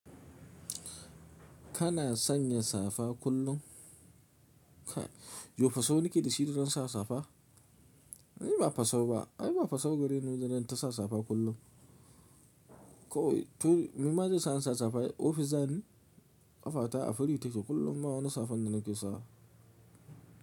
Kana sanya safa kullum? Yo fasau nake da shi da zan sa safa. Ai ba fasau ba. Ai ba fasau gare ni, zan tasa safa kullum. Ko to ni ma zan sa safa ofis zani ƙafata a free take kullum ba wani safan da nake sawa.